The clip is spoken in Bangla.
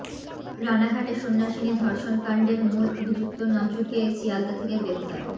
রানাঘাটে সন্ন্যাসিনী ধর্ষণকাণ্ডের মূল অভিযুক্ত নজুকে শিয়ালদা থেকে গ্রেফতার